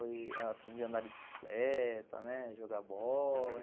Aprendi a andar de bicicleta, jogar bola